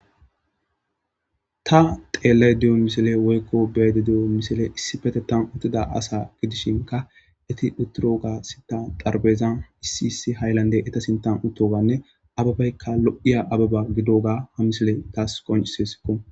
Ta xeellay di7o misile woykko beede di7o misile issi fete tan uttida asa gidishinka eti utturoga sitan darbezan issi issi hayllande eta sintan uttoganne ababaykka lo7iya ababa gidoga ha misile taas konciseskko.